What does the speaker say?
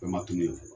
Fɛn ma tunu yen fɔlɔ